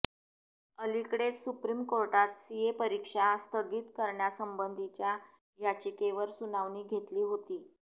अलिकडेच सुप्रीम कोर्टात सीए परीक्षा स्थगित करण्यासंबंधीच्या याचिकेवर सुनावणी घेतली होती